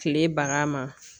Kile baga ma.